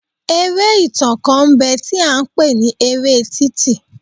Eré ìtàn kan ń bẹ tí a ń pè ní eré títì.